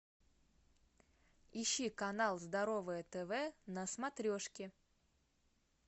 ищи канал здоровое тв на смотрешке